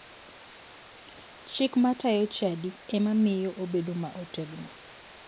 Chik matayo chadi ema miyo obedo ma otegno